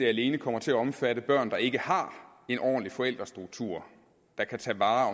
alene kommer til at omfatte børn der ikke har en ordentlig forældrestruktur der kan tage vare